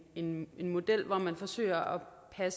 en model hvor man forsøger at